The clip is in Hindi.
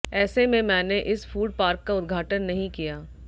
ऐसे में मैंने इस फूड पार्क का उद्घाटन नहीं किया